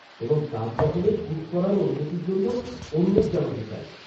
-এবং তাজমহলে শ্যুট করার অনুমতির জন্য অনুরোধ জানাতে চাই।